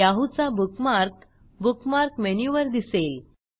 Yahoo चा bookmark bookmark मेनूवर दिसेल